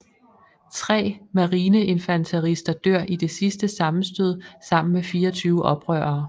Tre marineinfanterister dør i det sidste sammenstød sammen med 24 oprørere